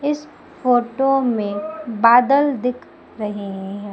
इस फोटो में बादल दिख रहे हैं।